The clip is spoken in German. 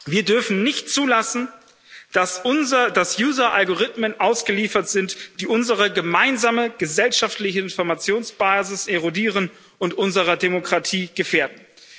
Wir dürfen nicht zulassen, dass user Algorithmen ausgeliefert sind, die unsere gemeinsame gesellschaftliche Informationsbasis erodieren und unsere Demokratie gefährden.